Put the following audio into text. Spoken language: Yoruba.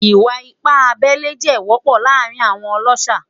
Iwa-ipa abẹle jẹ wọpọ laarin awọn ọlọṣà